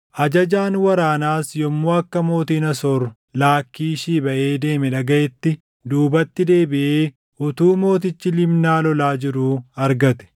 Ajajaan waraanaas yommuu akka mootiin Asoor Laakkiishii baʼee deeme dhagaʼetti, duubatti deebiʼee utuu mootichi Libnaa lolaa jiruu argate.